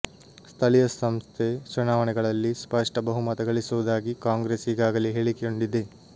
ಸ್ಥಳೀಯ ಸಂಸ್ಥೆ ಚುನಾವಣೆಗಳಲ್ಲಿ ಸ್ಪಷ್ಟ ಬಹುಮತ ಗಳಿಸುವುದಾಗಿ ಕಾಂಗ್ರೆಸ್ ಈಗಾಗಲೇ ಹೇಳಿಕೊಂಡಿದೆ